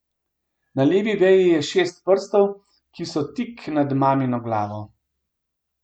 Na levi veji je šest prstov, ki so tik nad mamino glavo.